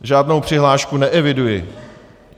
Žádnou přihlášku neeviduji.